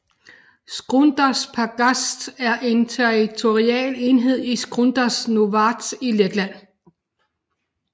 Skrundas pagasts er en territorial enhed i Skrundas novads i Letland